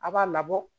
A b'a labɔ